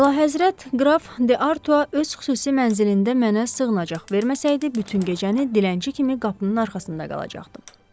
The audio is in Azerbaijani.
Əlahəzrət, qraf De Artua öz xüsusi mənzilində mənə sığınacaq verməsəydi, bütün gecəni dilənçi kimi qapının arxasında qalacaqdım.